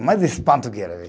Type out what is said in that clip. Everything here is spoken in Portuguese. Mais espanto que era ver.